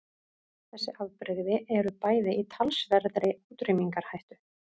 Þessi afbrigði eru bæði í talsverðri útrýmingarhættu.